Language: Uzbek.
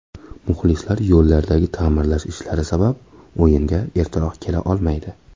Muxlislar yo‘llardagi ta’mirlash ishlari sabab o‘yinga ertaroq kela olmaydi.